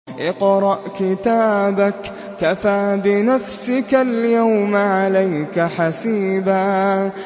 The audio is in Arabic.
اقْرَأْ كِتَابَكَ كَفَىٰ بِنَفْسِكَ الْيَوْمَ عَلَيْكَ حَسِيبًا